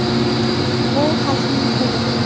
Bu – xalqning puli.